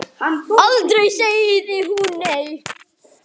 Aldrei sagði hún nei.